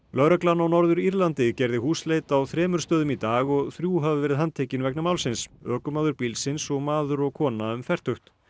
lögreglan á Norður Írlandi gerði húsleit á þremur stöðum í dag og þrjú hafa verið handtekin vegna málsins ökumaður bílsins og maður og kona um fertugt